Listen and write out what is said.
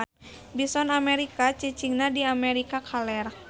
Bison Amerika cicingna di Amerika kaler.